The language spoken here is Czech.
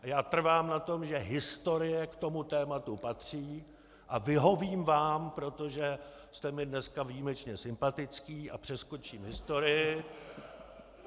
Já trvám na tom, že historie k tomu tématu patří, a vyhovím vám, protože jste mi dneska výjimečně sympatický , a přeskočím historii.